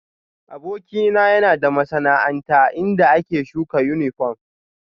Abokina yana da masana'anta inda ake shuka yunifom